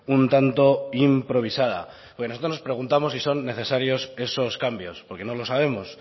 un tanto improvisada nosotros nos preguntamos si son necesarios esos cambios porque no lo sabemos